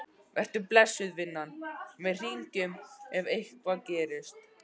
Vertu blessuð, vinan, við hringjum ef eitthvað gerist.